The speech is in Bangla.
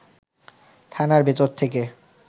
থানার ভেতর থেকে